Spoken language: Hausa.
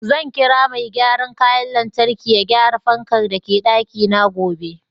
Zan kira Mai gyaran kayan lantarki ya gyara fanka da ke daki na gobe.